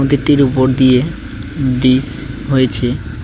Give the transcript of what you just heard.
ব্যক্তির উপর দিয়ে ব্রিচ হয়েছে।